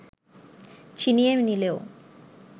ছিনিয়ে নিলেও